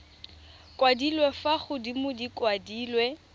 kwadilwe fa godimo di kwadilwe